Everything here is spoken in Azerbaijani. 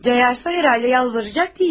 Cayasa, yəqin ki, yalvaracaq deyilik.